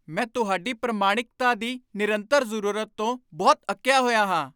ਮੈਂ ਤੁਹਾਡੀ ਪ੍ਰਮਾਣਿਕਤਾ ਦੀ ਨਿਰੰਤਰ ਜ਼ਰੂਰਤ ਤੋਂ ਬਹੁਤ ਅੱਕਿਆ ਹੋਇਆ ਹਾਂ।